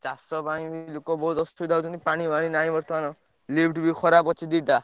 ଚାଷ ପାଇଁ ଲୋକ ବହୁତ୍ ଅସୁବିଧା ହଉଛନ୍ତି ପାଣି ଫାଣି ନାହିଁ ବର୍ତ୍ତମାନ। lift ଖରାପ ଅଛି ଦିଟା।